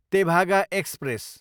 Tebhaga express